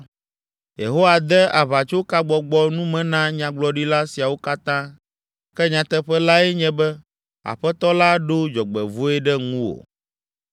“Yehowa de aʋatsokagbɔbgɔ nume na nyagblɔɖila siawo katã, ke nyateƒe lae nye be, Aƒetɔ la ɖo dzɔgbevɔ̃e ɖe ŋuwò.”